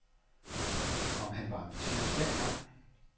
Om han var ambitiøs dengang?